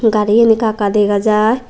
gari gan ekka ekka dega jai.